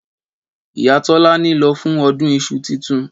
Ìyá tọlàni lọ fún ọdún ìsú títùn